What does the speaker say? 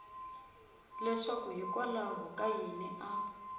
leswaku hikwalaho ka yini a